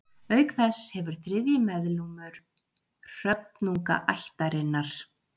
auk þess hefur þriðji meðlimur hröfnungaættarinnar